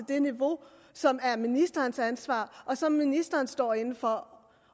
det niveau som er ministerens ansvar og som ministeren står inde for